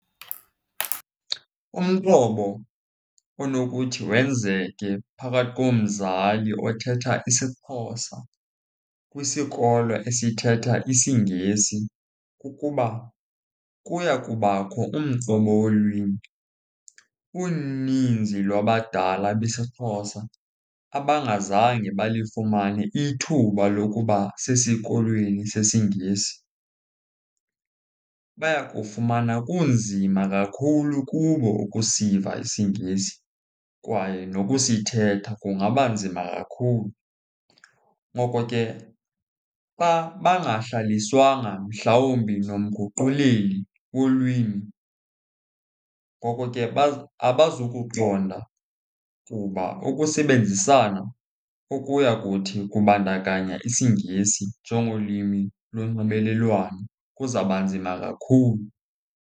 Umqobo onokuthi wenzeke phakathi komzali othetha isiXhosa kwisikolo esithetha isiNgesi kukuba kuya kubakho umqobo wolwimi. Uninzi lwabadala besiXhosa abangazange balifumane ithuba lokuba sesikolweni sesiNgesi, bayakufumana kunzima kakhulu kubo ukusiva isiNgesi kwaye nokusithetha kungaba nzima kakhulu. Ngoko ke xa bangahlaliswanga mhlawumbi nomguquleli wolwimi, ngoko ke abazukuqonda kuba ukusebenzisana ukuya kuthi kubandakanya isiNgesi njengolwimi lonxibelelwano kuzawuba nzima kakhulu.